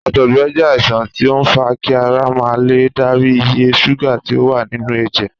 Àtọ̀gbẹ jé àìsàn tí ó n fa kí ara ma lè darí iye ṣúgà tí o wà nínú èjè